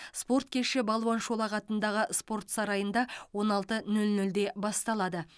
спорт кеші балуан шолақ атындағы спорт сарайында он алты нөл нөлде басталады